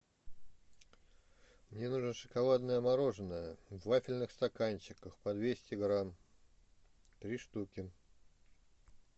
мне нужно шоколадное мороженое в вафельных стаканчиках по двести грамм три штуки